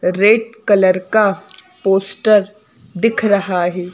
Red colour का poster दिख रहा है।